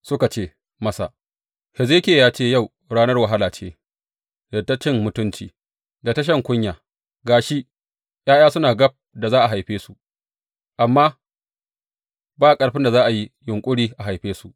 Suka ce masa, Hezekiya ya ce, yau ranar wahala ce, da ta cin mutunci, da ta shan kunya, ga shi, ’ya’ya suna gab da a haife su, amma ba ƙarfin da za a yi yunƙuri a haife su.